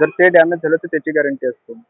जर ते damage झालं तर त्याची guarrenty असते.